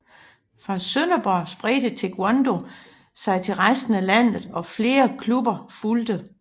Fra Sønderborg spredte Taekwondo sig til resten af landet og flere klubber fulgte